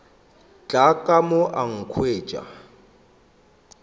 tla ka mo a nkhwetša